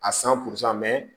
A san